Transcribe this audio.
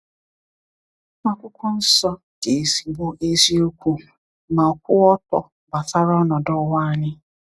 Akwụkwọ Nsọ dị ezigbo eziokwu ma kwụọ ọtọ gbasara ọnọdụ ụwa anyị.